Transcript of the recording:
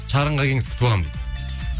чарынға келіңіз күтіп аламын дейді